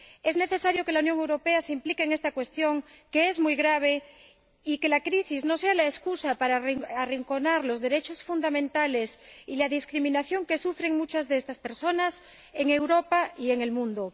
Es necesario que la Unión Europea se implique en esta cuestión, que es muy grave, y que la crisis no sea la excusa para arrinconar los derechos fundamentales y ocultar la discriminación que sufren muchas de estas personas en Europa y en el mundo.